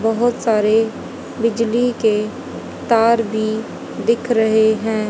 बहोत सारे बिजली के तार भी दिख रहे हैं।